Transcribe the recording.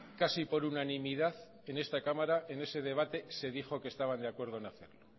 casi por unanimidad en esta cámara en ese debate se dijo que estaban de acuerdo en hacerlo